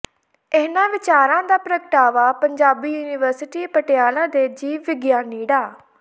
ਇਹਨਾਂ ਵਿੱਚਾਰਾਂ ਦਾ ਪ੍ਰਗਟਾਵਾ ਪੰਜਾਬੀ ਯੂਨੀਵਰਸਿਟੀ ਪਟਿਆਲਾ ਦੇ ਜੀਵ ਵਿਗਿਆਨੀ ਡਾ